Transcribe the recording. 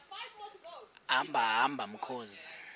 hamba hamba mkhozi